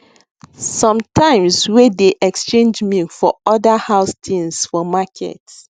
sometimes wey dey exchange milk for other house things for market